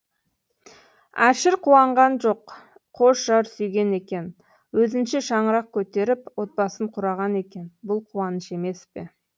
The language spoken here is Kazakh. әшір қуанған жоқ қош жар сүйген екен өзінше шаңырақ көтеріп отбасын құраған екен бұл қуаныш емес пе